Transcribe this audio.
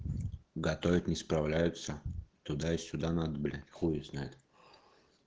готовить не справляются туда и сюда надо блять хуй его знает